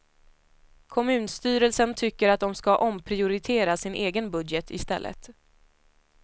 Kommunstyrelsen tycker att de ska omprioritera sin egen budget i stället.